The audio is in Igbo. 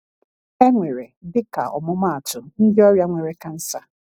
E nwere, dịka ọmụmaatụ, ndị ọrịa nwere kansa.